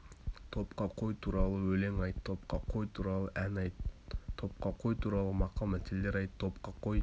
топқа қой туралы өлең айт топқа қой туралы ән айт топқа қой туралы мақал мәтелдер айт топқа қой